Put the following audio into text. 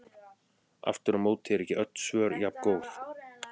Aftur á móti eru ekki öll svör jafngóð.